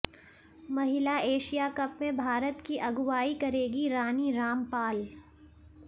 महिला Asia cup में भारत की अगुवाई करेगी रानी रामपाल